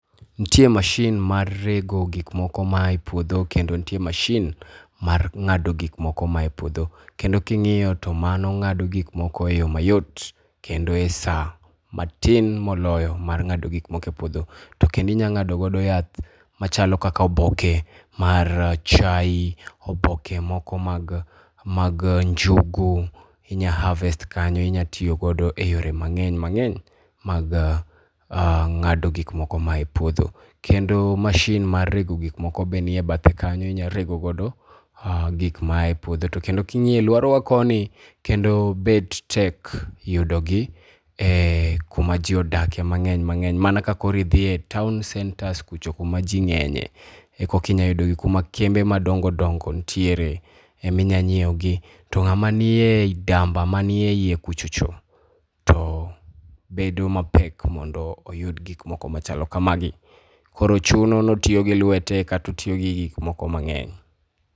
Nitie mashin mar rego gik moko maa e puodho kendo nitie mashin mar ng'ado gik moko maa e puodho. Kendo ka ing'iyo to mano ng'ado gik moko eyo mayot, kendo e saa matin moloyo mar ng'ado gik moko e puodho. To kendo inyalo ng'ado godo yath machalo kaka oboke mar chae, oboke moko mag mag njugu , inyalo harvest kanyo inyalo tiyo godo e yore mang'eny mang'eny mag ng'ado gik moko moa e puodho. Kendo mashin mar rego gik moko bende nie bathe kanyo inyalo rego godo gik moa e puodho to kendo ka ing'iyo aluorawa koni kendo bet tek yudogi kuma ji odakie mang'eny mang'eny mana ka koro idhi e town centres kucho kuma ji ng'enyie eka inyalo yudo gi kuma kembe madongo dongo nitiere ema inyalo nyiewo gi. To ng'ama nie i damba, manie iye kucho cho, to bedo mapek mondo oyud gik moko machalo kamagi. Koro chuno ni otiyo gi lwete kata otiyo gi gik moko mang'eny